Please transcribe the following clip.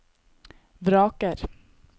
vraker